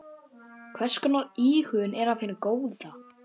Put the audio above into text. Hvers konar íhugun er af hinu góða.